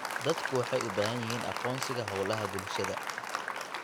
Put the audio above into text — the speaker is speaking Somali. Dadku waxay u baahan yihiin aqoonsiga hawlaha bulshada.